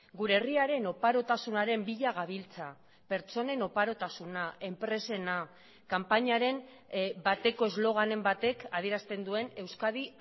gure herriaren oparotasunaren bila gabiltza pertsonen oparotasuna enpresena kanpainaren bateko esloganen batek adierazten duen euskadi